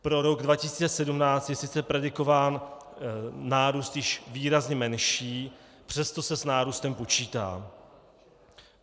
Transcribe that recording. Pro rok 2017 je sice predikován nárůst již výrazně menší, přesto se s nárůstem počítá.